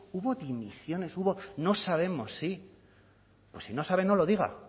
hubo dimisiones hubo no sabemos si pues si no saben no lo diga